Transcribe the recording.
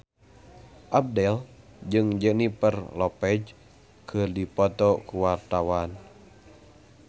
Abdel jeung Jennifer Lopez keur dipoto ku wartawan